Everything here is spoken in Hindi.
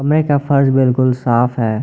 का फर्श बिल्कुल साफ है।